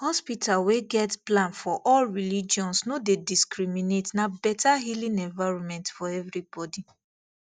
hospital wey get plan for all religions no dey discriminate na better healing environment for everybody